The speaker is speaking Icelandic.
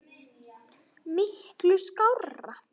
Miklu skárra.